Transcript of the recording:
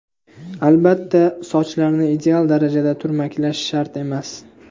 Albatta, sochlarni ideal darajada turmaklash shart emas.